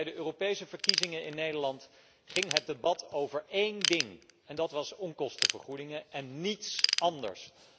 Bij de Europese verkiezingen in Nederland ging het debat over één ding, namelijk onkostenvergoedingen en niets anders.